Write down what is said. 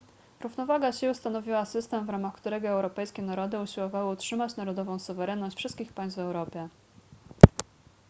równowaga sił stanowiła system w ramach którego europejskie narody usiłowały utrzymać narodową suwerenność wszystkich państw w europie